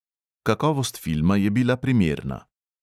Kakovost filma je bila primerna.